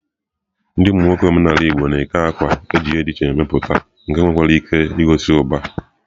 Ndi nwoke omenala igbo na-eke àkwà eji ihe di iche iche meputa nke nwekwara ike igosi uba.